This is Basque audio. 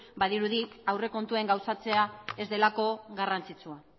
badirudi aurrekontuen gauzatzea ez delako garrantzitsua